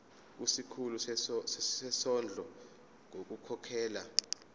kusikhulu sezondlo ngokukhokhela